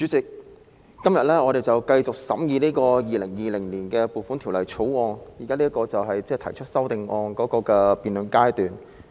主席，我們今天繼續審議《2020年撥款條例草案》，現在是辯論修正案的階段。